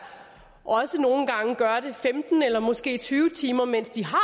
også nogle gange gør det femten eller måske tyve timer mens de har